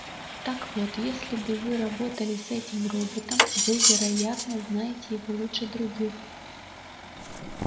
так вот если бы вы работали с этим роботом вы вероятно знаете его лучше других